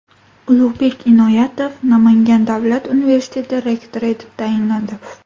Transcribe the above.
Ulug‘bek Inoyatov Namangan davlat universiteti rektori etib tayinlandi.